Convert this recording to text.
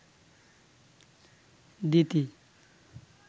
দিতি